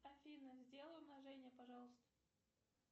афина сделай умножение пожалуйста